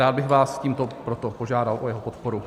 Rád bych vás tímto proto požádal o jeho podporu.